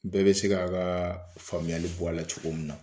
Bɛɛ bɛ se k'a ka faamuyali bɔ a la cogo min na.